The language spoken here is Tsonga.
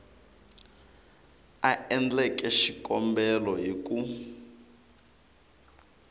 a endleke xikombelo hi ku